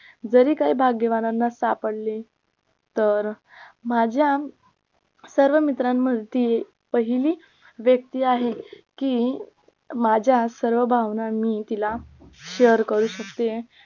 जरी काय भाग्यवनांना सापडले तर माझ्या सर्व मैत्रिणींमध्ये ती पहिली व्यक्ती आहे की माझ्या सर्व भावना मी तिला share करू शकते